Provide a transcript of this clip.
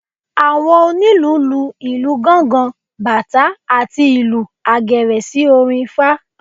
Àwọn onílù lu ìlù gángán, batá àti ìlù àgẹ̀rẹ̀ sí orin ifá.